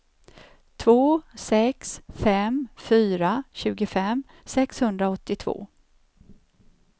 två sex fem fyra tjugofem sexhundraåttiotvå